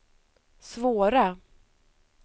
svåra